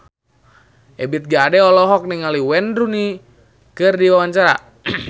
Ebith G. Ade olohok ningali Wayne Rooney keur diwawancara